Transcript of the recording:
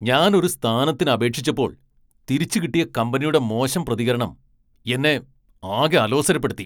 ഞാൻ ഒരു സ്ഥാനത്തിന് അപേക്ഷിച്ചപ്പോൾ, തിരിച്ചു കിട്ടിയ കമ്പനിയുടെ മോശം പ്രതികരണം എന്നെ ആകെ അലോസരപ്പെടുത്തി.